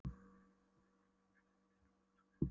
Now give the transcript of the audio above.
Hefur hún ekki farið í neina alvöru greiningu?